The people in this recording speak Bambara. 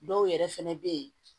Dɔw yɛrɛ fɛnɛ bɛ ye